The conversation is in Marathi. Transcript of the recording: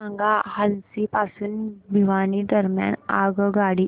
सांगा हान्सी पासून भिवानी दरम्यान आगगाडी